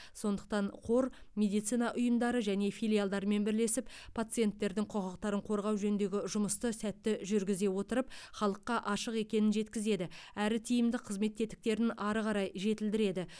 сондықтан қор медицина ұйымдары және филиалдармен бірлесіп пациенттердің құқықтарын қорғау жөніндегі жұмысты сәтті жүргізе отырып халыққа ашық екенін жеткізеді әрі тиімді қызмет тетіктерін ары қарай жетілдіреді